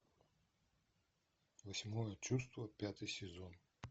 восьмое чувство пятый сезон